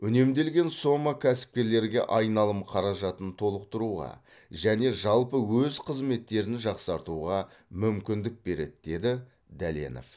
үнемделген сома кәсіпкерлерге айналым қаражатын толықтыруға және жалпы өз қызметтерін жақсартуға мүмкіндік береді деді дәленов